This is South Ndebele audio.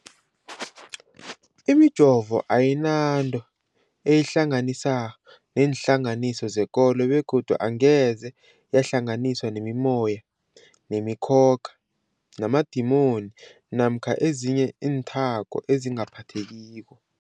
Imijovo ayinanto eyihlanganisa neenhlangano zekolo begodu angeze yahlanganiswa nemimoya, nemi khokha, namadimoni namkha ezinye iinthako ezingaphathekiko.